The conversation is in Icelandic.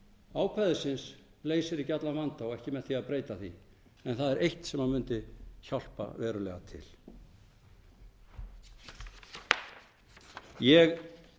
ákvæðisins leysir ekki allan vanda og ekki með því að breyta því en það er eitt sem mundi hjálpa verulega til ég